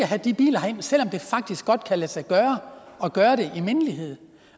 have de biler herind selv om det faktisk godt kan lade sig gøre at gøre det i mindelighed